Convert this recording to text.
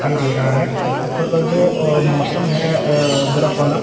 दिखाई दे रहा है। ऊपर का जो मौसम है बर्फ वाला--